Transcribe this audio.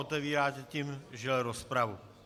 Otevíráte tím, žel, rozpravu.